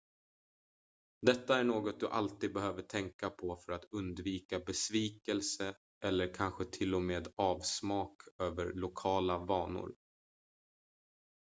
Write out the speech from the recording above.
detta är något du alltid behöver tänka på för att undvika besvikelse eller kanske till och med avsmak över lokala vanor